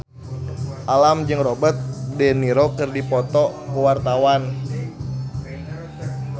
Alam jeung Robert de Niro keur dipoto ku wartawan